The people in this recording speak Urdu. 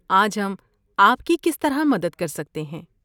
آج ہم آپ کی کس طرح مدد کر سکتے ہیں؟